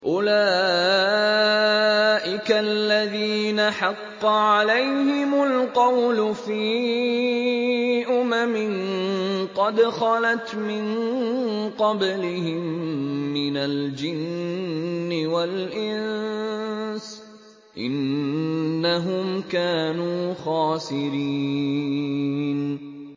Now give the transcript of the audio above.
أُولَٰئِكَ الَّذِينَ حَقَّ عَلَيْهِمُ الْقَوْلُ فِي أُمَمٍ قَدْ خَلَتْ مِن قَبْلِهِم مِّنَ الْجِنِّ وَالْإِنسِ ۖ إِنَّهُمْ كَانُوا خَاسِرِينَ